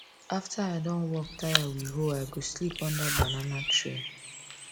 after i don work tire with hoe i go sleep under banana tree